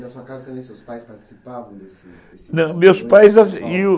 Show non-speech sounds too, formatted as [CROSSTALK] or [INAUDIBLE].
Na sua casa também seus pais participavam, desse desse? Não, meus assim [UNINTELLIGIBLE]